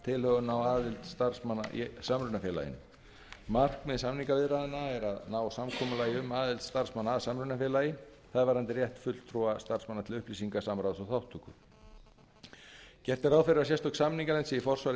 á aðild starfsmanna í samrunafélaginu markmið samningaviðræðna er að ná samkomulagi um aðild starfsmanna að samrunafélagi það er varðandi rétt fulltrúa starfsmanna til upplýsinga samráðs og þátttöku gert er ráð fyrir að sérstök samninganefnd sé í forsvari